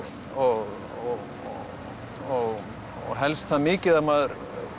og og og helst það mikið að maður